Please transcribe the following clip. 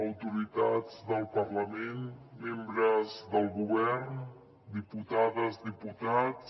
autoritats del parlament membres del govern diputades diputats